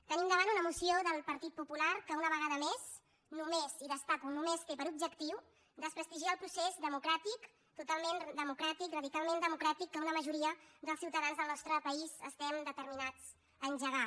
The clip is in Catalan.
tenim davant una moció del partit popular que una vegada més només i ho destaco només té per objectiu desprestigiar el procés democràtic totalment democràtic radicalment democràtic que una majoria dels ciutadans del nostre país estem determinats a engegar